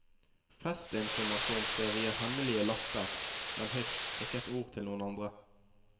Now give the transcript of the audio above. Festinformasjonen skjer via hemmelige lapper, men hysj, ikke et ord til noen andre.